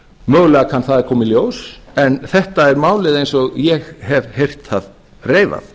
mögulega kann það að koma í ljós en þetta er málið eins og ég hef heyrt það reifað